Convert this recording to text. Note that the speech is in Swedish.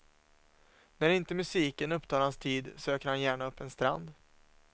När inte musiken upptar hans tid söker han gärna upp en strand.